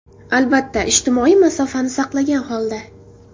Albatta, ijtimoiy masofani saqlagan holda.